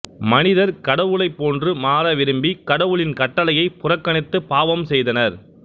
மனிதர் கடவுளைப் போன்று மாற விரும்பி கடவுளின் கட்டளையைப் புறக்கணித்து பாவம் செய்தனர்